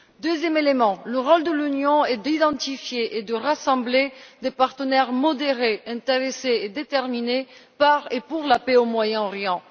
Deuxième élément, le rôle de l'Union est d'identifier et de rassembler des partenaires modérés, intéressés et déterminés par et pour la paix au Moyen Orient.